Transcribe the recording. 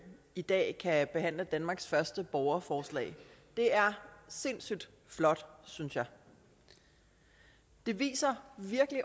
i dag kan behandle danmarks første borgerforslag det er sindssygt flot synes jeg det viser